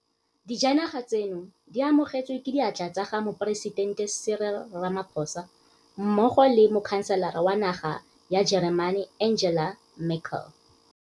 Dijanaga tseno di amogetswe ke diatla tsa ga Moporesitente Cyril Ramaphosa mmogo le Mokhanselara wa naga ya Jeremane Angela Merkel.